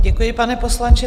Děkuji, pane poslanče.